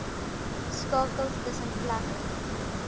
skakels tussen plekke